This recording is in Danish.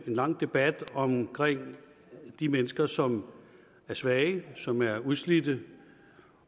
lang debat om de mennesker som er svage som er udslidte